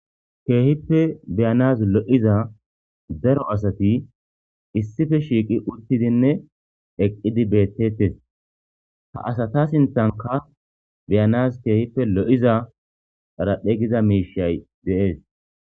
Keehippe beyanas lo7iza daro asati issife shiiqi uttidinne eqqidi beettettes ha asata sintanka beyanaz keehippe lo7iza dharahphe giza miishay deees